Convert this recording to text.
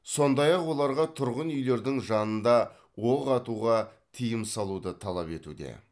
сондай ақ оларға тұрғын үйлердің жанында оқ атуға тыйым салуды талап етуде